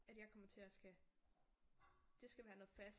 At jeg kommer til at skal det skal være noget fast